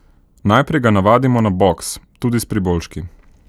Najprej ga navadimo na boks, tudi s priboljški.